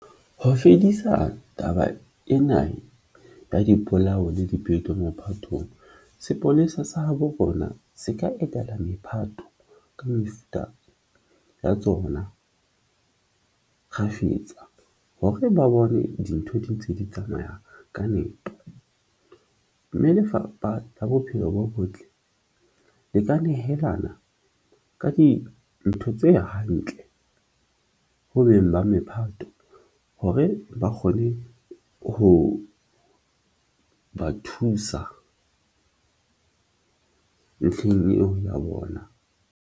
Ho fedisa taba ena ka dipolao le dipeto mophatong, sepolesa sa habo rona se ka etela mephato ka mefuta ya tsona kgafetsa. Hore ba bone dintho di ntse di tsamaya ka nepo mme Lefapha la Bophelo bo Botle le ka nehelana ka dintho tse hantle ho beng ba mephato hore ba kgone ho ba thusa ntlheng eo ya bona.